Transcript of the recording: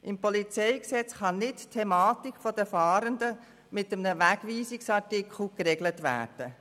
Im PolG kann nicht die Thematik der Fahrenden mit einem Wegweisungsartikel geregelt werden.